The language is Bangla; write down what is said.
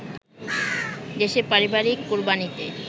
দেশে পারিবারিক কোরবানিতে